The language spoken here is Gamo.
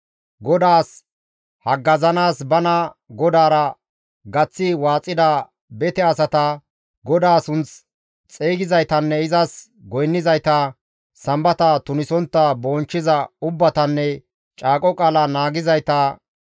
GODAAS haggazanaas, bana GODAARA gaththi waaxida bete asata GODAA sunth siiqizaytanne izas goynnizayta, sambata tunisontta bonchchiza ubbatanne caaqo qaala naagizayta,